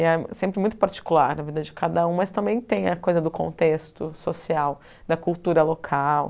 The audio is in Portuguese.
E é sempre muito particular na vida de cada um, mas também tem a coisa do contexto social, da cultura local.